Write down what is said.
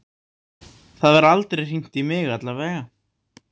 Það var aldrei hringt í mig, allavega.